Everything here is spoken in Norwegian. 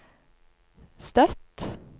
Støtt